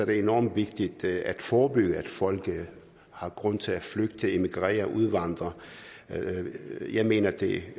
det enormt vigtigt at forebygge at folk har grund til at flygte emigrere udvandre jeg mener at det